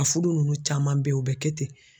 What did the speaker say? A fudu nunnu caman bɛ ye u bɛ kɛ ten.